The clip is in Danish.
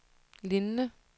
lignende